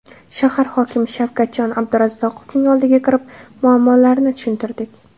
Shahar hokimi Shavkatjon Abdurazzoqovning oldiga kirib, muammolarni tushuntirdik.